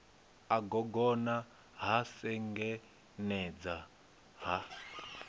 a gogona ha sengenedza ha